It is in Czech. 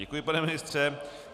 Děkuji, pane ministře.